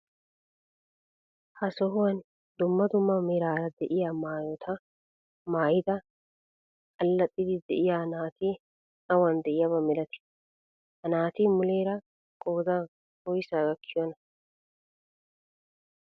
Ha sohuwaan dumma dumma meraara de'iyaa maayota maayida allaxiidi de'iyaa naati awan de'iyaaba milatii? Ha naati muleera qoodan woysaa gakkiyoonaa?